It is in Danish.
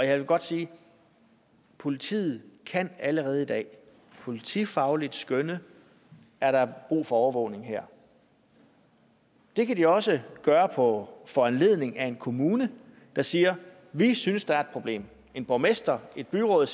jeg vil godt sige at politiet allerede i dag politifagligt kan skønne er der brug for overvågning her det kan de også gøre på foranledning af en kommune der siger at de synes der er et problem en borgmester et byråd